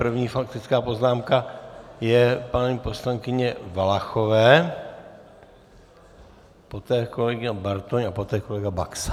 První faktická poznámka je paní poslankyně Valachové, poté kolega Bartoň a poté kolega Baxa.